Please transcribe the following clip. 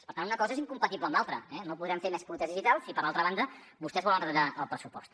per tant una cosa és incompatible amb l’altra no podrem fer més polítiques digital si per altra banda vostès volen retallar el pressupost